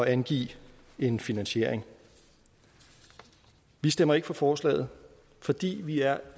angive en finansiering vi stemmer ikke for forslaget fordi vi er